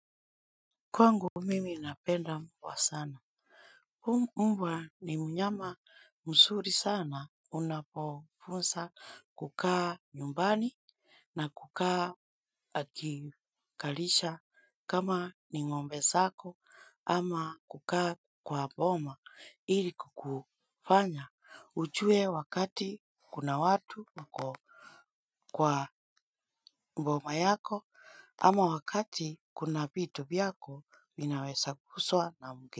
Kwa ngu mimi napenda mbwa sana. Umbwa ni mnyama msuri sana unapofunsa kukaa nyumbani na kukaa akikalisha kama ni ngombe sako ama kukaa kwa boma ili kukufanya. Ujue wakati kuna watu mko kwa mboma yako ama wakati kuna bitu biyako minawesa kuswa na mge.